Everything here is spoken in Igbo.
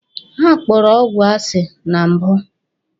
Ha kpọrọ ọgwụ asi na mbụ.